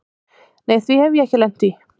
Nei því hef ég ekki lent í.